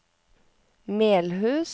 Melhus